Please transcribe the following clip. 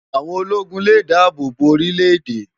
Áwón ólógún lé dàábó bó órilè édè